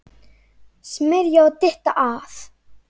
Smyrja og dytta að.